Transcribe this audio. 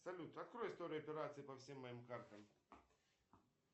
салют открой историю операций по всем моим картам